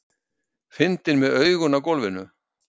Fyndinn með augun á gólfinu.